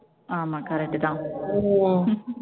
ஆமா correct தான்